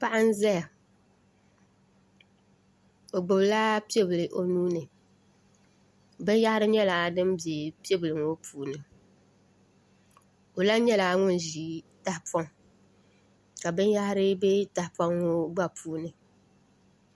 Paɣa n ʒɛya o gbubila piɛ bili o nuuni binyahari nyɛla din bɛ piɛbili maa ŋo puuni o lahi nyɛla ŋun ʒi tahapoŋ ka binyahari bɛ tahapoŋ ŋo gba puuni